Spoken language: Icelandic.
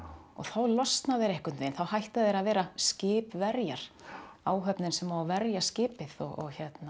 og þá losna þeir einhvern veginn þá hætta þeir að vera skipverjar áhöfnin sem á að verja skipið og